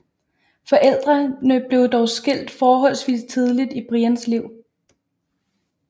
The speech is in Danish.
Forældrene blev dog skilt forholdsvis tidligt i Brians liv